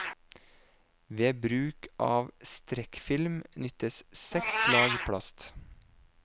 Ved bruk av strekkfilm nyttes seks lag plast.